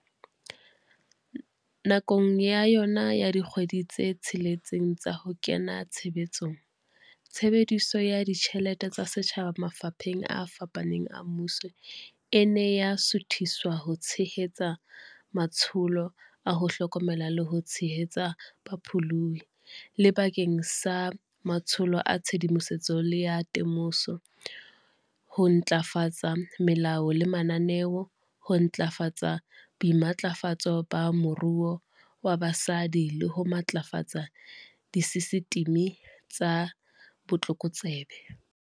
Nakong ya yona ya dikgwedi tse tsheletseng tsa ho kena tshebetsong, tshebediso ya ditjhelete tsa setjhaba mafapheng a fapaneng a mmuso e ne ya suthiswa ho tshe-hetsa matsholo a ho hlokomela le ho tshehetsa bapholohi, le bakeng sa matsholo a tshedimoso le a te-moso, ho ntlafatsa melao le mananeo, ho ntlafatsa boimatlafatso ba moruo ba basadi le ho matlafatsa disesitimi tsa botlokotsebe.